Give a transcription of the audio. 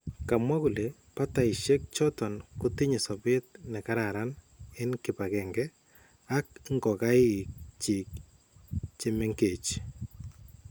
Kamwa kole batayisyeek choton kotinye sobeet nekararan en kipagenge ak ngokaik chik chemengech